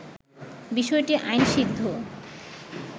বিষয়টি আইনসিদ্ধ